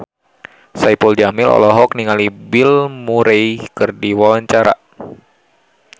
Saipul Jamil olohok ningali Bill Murray keur diwawancara